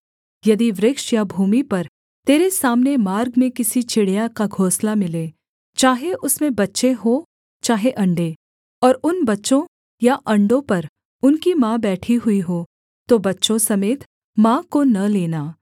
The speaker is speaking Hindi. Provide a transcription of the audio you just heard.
यदि वृक्ष या भूमि पर तेरे सामने मार्ग में किसी चिड़िया का घोंसला मिले चाहे उसमें बच्चे हों चाहे अण्डे और उन बच्चों या अण्डों पर उनकी माँ बैठी हुई हो तो बच्चों समेत माँ को न लेना